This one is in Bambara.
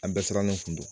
An bɛɛ sirannen kun don